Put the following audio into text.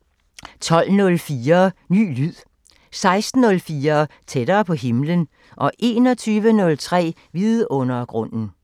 12:04: Ny lyd 16:04: Tættere på himlen 21:03: Vidundergrunden